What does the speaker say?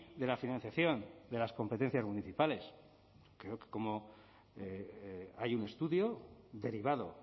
de la financiación de las competencias municipales creo que hay un estudio derivado